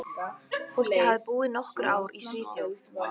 Fólkið hafði búið nokkur ár í Svíþjóð.